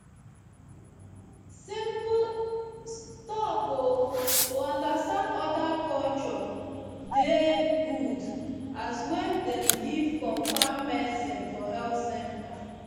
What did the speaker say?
stop o to understand oda culture dey good as wen dem give confam medicine for health canters